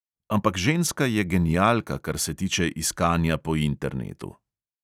Ampak ženska je genialka, kar se tiče iskanja po internetu.